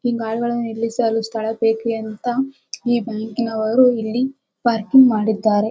ಈ ಕಾರು ಗಳನ್ನು ನಿಲ್ಲಿಸಲು ಸ್ಥಳ ಬೇಕ್ರಿ ಅಂತ ಈ ಬ್ಯಾಂಕಿ ನವರು ಇಲ್ಲಿ ಪಾರ್ಕಿಂಗ್ ಮಾಡಿದ್ದಾರೆ.